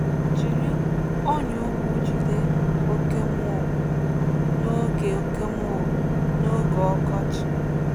Jiri ọnyà ụkwụ jide oke mole n’oge oke mole n’oge ọkọchị.